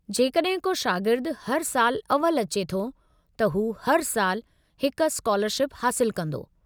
जेकॾहिं को शागिर्दु हर सालु अव्वल अचे थो, त हू हर साल हिकु स्कालरशिप हासिलु कंदो।